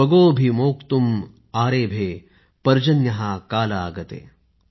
स्वगोभिः मोक्तुम् आरेभे पर्जन्यः काल आगते ।।